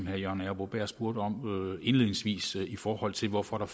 herre jørgen arbo bæhr spurgte om indledningsvis i forhold til hvorfor der